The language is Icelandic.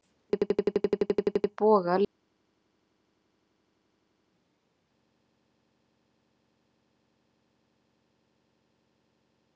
Hún er forsætisráðherra Íslands.